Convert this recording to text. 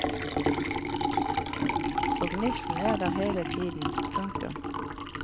Og gnisten er der hele tiden. punktum